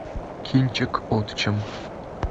кинчик отчим